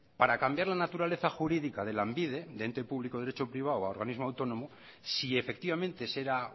para cambiar la naturaleza jurídica de lanbide de ente público derecho privado a organismo autónomo si efectivamente ese era